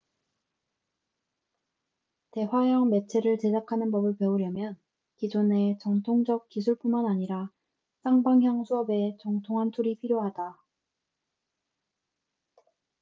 대화형 매체를 제작하는 법을 배우려면 기존의 전통적 기술뿐만 아니라 쌍방향 수업에 정통한 툴이 필요하다 스토리보딩 오디오 및 비디오 편집 스토리텔링 등